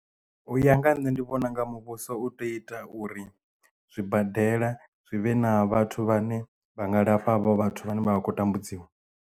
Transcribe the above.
U ya nga nne ndi vhona nga muvhuso u tea u ita uri zwibadela zwi vhe na vhathu vhane vha nga lafha havho vhathu vhane vha vha khou tambudziwa.